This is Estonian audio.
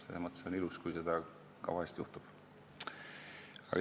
Selles mõttes on ilus, kui seda vahel juhtub.